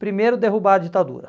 Primeiro, derrubar a ditadura.